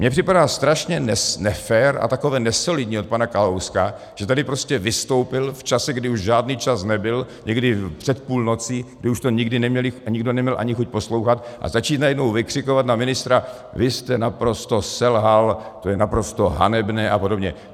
Mně připadá strašně nefér a takové nesolidní od pana Kalouska, že tady prostě vystoupil v čase, kdy už žádný čas nebyl, někdy před půlnocí, kdy už to nikdo neměl ani chuť poslouchat, a začít najednou vykřikovat na ministra: vy jste naprosto selhal, to je naprosto hanebné a podobně.